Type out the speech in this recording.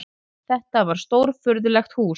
Þetta var stórfurðulegt hús.